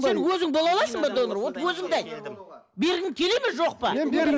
сен өзің бола аласың ба донор вот өзіңді айт бергің келеді ме жоқ па мен